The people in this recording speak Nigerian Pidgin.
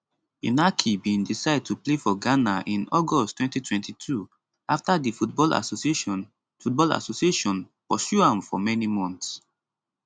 inaki bin decide to play for ghana in august 2022 afta di football association football association pursue am for many months